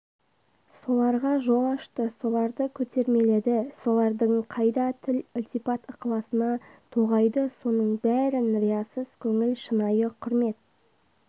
соларға жол ашты соларды көтермеледі солардың майда тіл ілтипат-ықыласына тоғайды соның бәрін риясыз көңіл шынайы құрмет